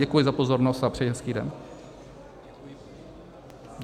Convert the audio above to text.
Děkuji za pozornost a přeji hezký den.